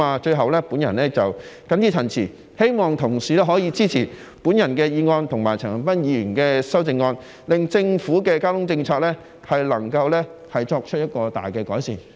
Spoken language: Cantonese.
最後，我謹此陳辭，希望同事可以支持我的議案和陳恒鑌議員的修正案，令政府的交通政策能夠作出重大改善。